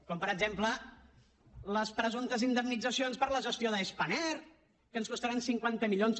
com per exemple les presumptes indemnitzacions per la gestió de spanair que ens costaran cinquanta milions